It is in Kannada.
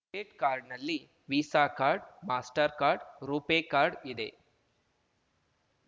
ಡಿಬೆಟ್‌ ಕಾರ್ಡ್‌ನಲ್ಲಿ Visa card Mastercard RuPay card ಇದೆ